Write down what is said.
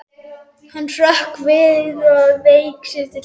Hann hrökk við og vék til hliðar.